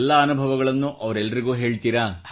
ಎಲ್ಲ ಅನುಭವಗಳನ್ನು ಅವರೆಲ್ಲರಿಗೂ ಹೇಳುತ್ತೀರಾ